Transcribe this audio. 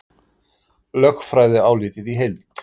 Lögfræðiálitið í heild